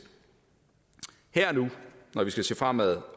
her og nu når vi skal se fremad